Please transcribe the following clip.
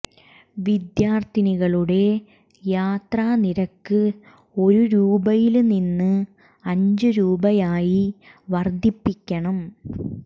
വിദ്യാർത്ഥികളുടെ യാത്ര നിരക്ക് ഒരു രൂപയില് നിന്ന് അഞ്ചു രൂപയായി വർധിപ്പിക്കണം